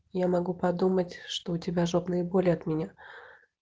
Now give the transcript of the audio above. я могу подумать что у тебя жопные боли от меня